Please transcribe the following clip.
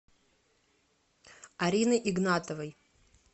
арины игнатовой